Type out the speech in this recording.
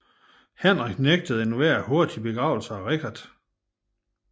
Henrik nægtede enhver hurtig begravelse til Richard